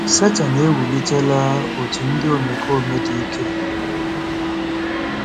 Setan ewulitela òtù ndị omekome dị ike.